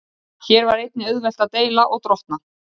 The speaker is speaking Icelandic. Hér var einnig auðvelt að deila og drottna.